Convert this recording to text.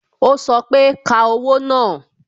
o sọ pé "Ka owó náà"